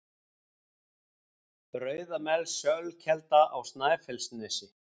Rauðamelsölkelda á Snæfellsnesi